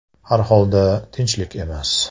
Har holda, tinchlik emas .